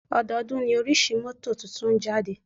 Ọdọọ́dún ní oríṣi mọ́tò tuntun ń jáde.